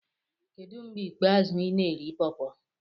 Kedu mgbe ikpeazụ ị na-eri pawpaw?